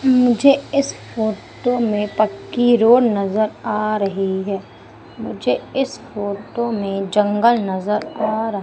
मुझे इस फोटो में पक्की रोड नजर आ रही है मुझे इस फोटो में जंगल नजर आ र--